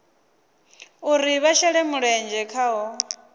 uri vha shele mulenzhe khaho